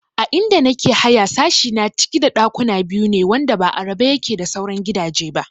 A inda nake haya sashi na ciki da ɗakuna biyu ne wanda ba a rabe yake da sauran gidaje ba